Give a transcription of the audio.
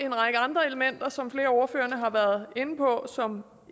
en række andre elementer som flere af ordførerne har været inde på og som